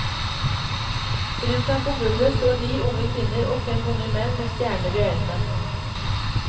Rundt ham på gulvet står ni unge kvinner og fem unge menn med stjerner i øynene.